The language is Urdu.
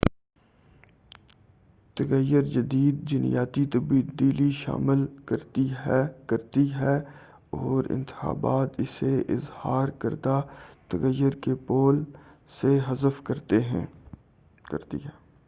تغیر جدید جینیاتی تبدیلی شامل کرتی ہے اورانتخاب اسے اظہار کردہ تغیر کے پول سے حذف کرتی ہے